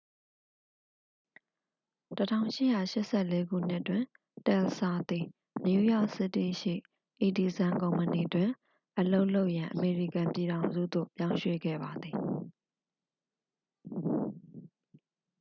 1884 ခုနှစ်တွင် တယ်လ်စာ သည် နယူးယောက်စီးတီးရှိ အီဒီဆန် ကုမ္ပဏီတွင် အလုပ်လုပ်ရန် အမေရိကန်ပြည်ထောင်စုသို့ ပြောင်းရွှေ့ခဲ့ပါသည်